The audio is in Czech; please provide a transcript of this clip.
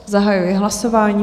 Zahajuji hlasování.